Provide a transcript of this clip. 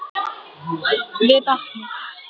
Við vatnið.